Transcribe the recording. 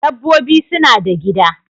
Dabbobi suna da gida